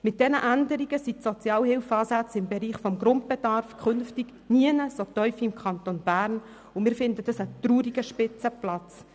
Mit diesen Änderungen sind die Sozialhilfeansätze im Bereich des Grundbedarfs künftig nirgendwo so tief wie im Kanton Bern, und das halten wir für einen traurigen Spitzenplatz.